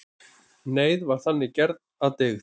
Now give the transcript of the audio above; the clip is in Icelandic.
Neyð var þannig gerð að dygð.